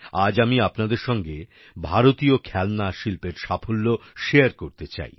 আজ আমি আপনাদের সঙ্গে ভারতীয় খেলনা শিল্পের সাফল্য শেয়ার করতে চাই